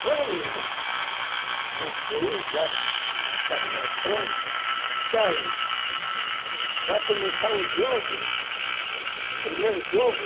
Quando construí já o painel pronto, e daí vai começar o jogo, primeiro jogo,